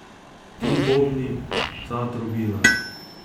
Ti bobni, ta trobila...